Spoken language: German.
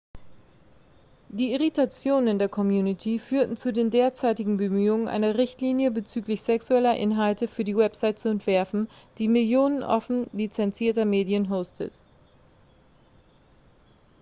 die irritationen in der community führten zu den derzeitigen bemühungen eine richtlinie bezüglich sexueller inhalte für die website zu entwerfen die millionen offen lizenzierter medien hostet